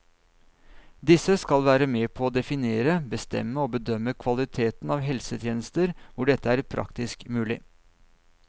Disse skal være med på å definere, bestemme og bedømme kvaliteten av helsetjenester hvor dette er praktisk mulig.